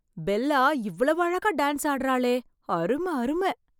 Bella இவ்வளவு அழகா dance ஆடுகிறாளே! அரும! அரும!